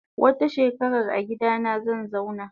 Wata shekarar agidana zanzauna.